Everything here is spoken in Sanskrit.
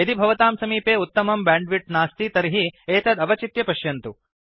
यदि भवतां समीपे उत्तमं बैण्डविड्थ नास्ति तर्हि एतत् अवचित्य पश्यन्तु